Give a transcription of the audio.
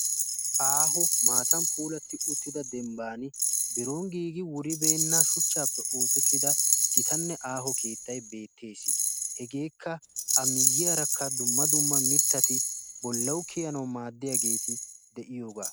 Aaho maatan puulatti uttida dembban biron giigi wuribeenna shuchchaappe oosettida gitanne aaho keettai beettees. hegeekka a miyyiyaarakka dumma dumma mittati bollau kiyanau maaddiyaageeti de'iyoogaa